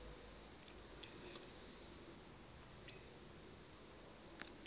uyeva ke mfo